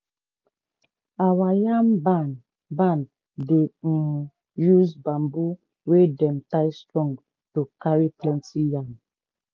our yam barn barn dey um use bamboo wey dem tie strong to carry plenty yam.